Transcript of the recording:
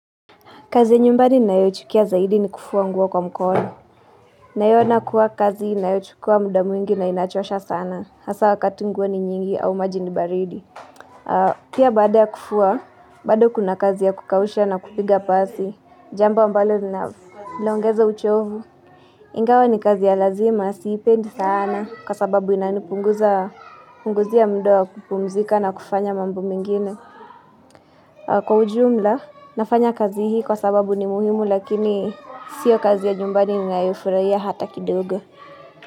Kazi nyumbani ninayoichukia zaidi ni kufua nguo kwa mkono. Naiona kuwa kazi inayochukua muda mwingi na inachosha sana. Hasa wakati nguo ni nyingi au maji ni baridi. Pia baada ya kufua, bado kuna kazi ya kukausha na kupiga pasi. Jambo ambalo linaloongeza uchovu. Ingawa ni kazi ya lazima, siipendi sana. Kwa sababu inanipunguza, punguzia muda wa kupumzika na kufanya mambo mengine. Kwa ujumla, nafanya kazi hii kwa sababu ni muhimu lakini sio kazi ya jumbani ninayofurahia hata kidogo.